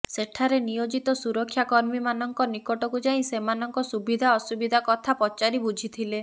ସେଠାରେ ନିୟୋଜିତ ସୁରକ୍ଷା କର୍ମୀ ମାନଙ୍କ ନିକଟକୁ ଯାଇ ସେମାନଙ୍କ ସୁବିଧା ଅସୁବିଧା କଥା ପଚାରି ବୁଝିଥିଲେ